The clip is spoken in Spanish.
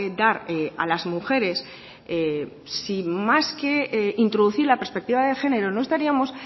dar a las mujeres si más que introducir la perspectiva de género no estaríamos